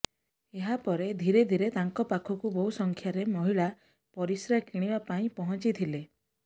ଏହା ପରେ ଧୀରେ ଧୀରେ ତାଙ୍କ ପାଖକୁ ବହୁ ସଂଖ୍ୟାରେ ମହିଳା ପରିସ୍ରା କିଣିବା ପାଇଁ ପହଞ୍ଚିଥିଲେ